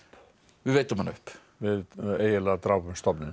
við veiddum hana upp við eiginlega drápum stofninn